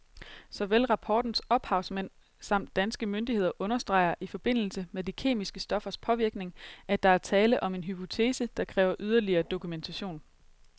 Såvel rapportens ophavsmænd samt danske myndigheder understreger i forbindelse med de kemiske stoffers påvirkning, at der er tale om en hypotese, der kræver yderligere dokumentation.